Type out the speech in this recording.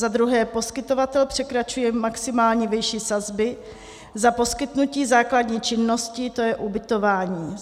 Za druhé, poskytovatel překračuje maximální výši sazby za poskytnutí základní činnosti, to je ubytování.